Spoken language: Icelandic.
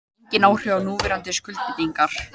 Engin áhrif á núverandi skuldbindingar